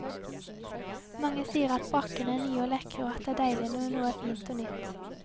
Mange sier at brakkene er nye og lekre og at det er deilig når noe er fint og nytt.